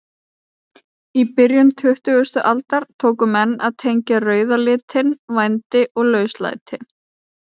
Í byrjun tuttugustu aldar tóku menn að tengja rauða litinn vændi og lauslæti.